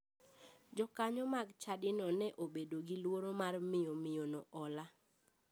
Jokanyo mag chadino ne obedo gi luoro mar miyo miyono hola.